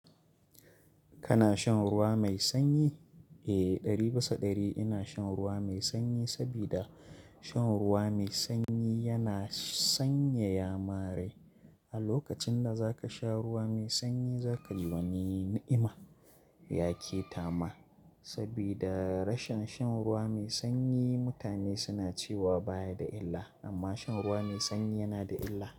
Kana shan ruwa mai sanyi? Eh, ɗari bisa ɗari ina shan ruwa mai sanyi sabida shan ruwa mai sanyi yana sanyaya manrai. A lokacin da za ka sha ruwa mai sanyi za ka ji wani ni'ima, yake tama. Sabida rashin shan ruwa mai sanyi mutane suna cewa baya da illa, amma shan ruwa mai sanyi yana da illa.